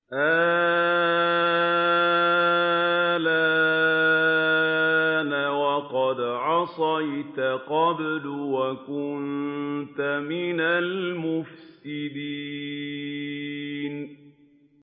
آلْآنَ وَقَدْ عَصَيْتَ قَبْلُ وَكُنتَ مِنَ الْمُفْسِدِينَ